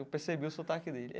Eu percebi o sotaque dele.